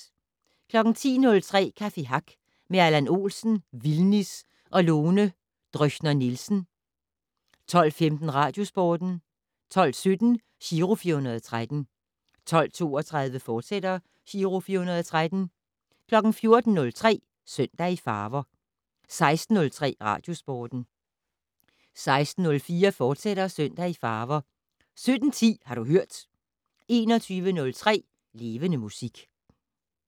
10:03: Café Hack med Allan Olsen, Vildnis og Lone Dröcher-Nielsen 12:15: Radiosporten 12:17: Giro 413 12:32: Giro 413, fortsat 14:03: Søndag i farver 16:03: Radiosporten 16:04: Søndag i farver, fortsat 17:10: Har du hørt 21:03: Levende Musik